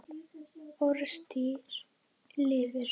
Orðstír lifir.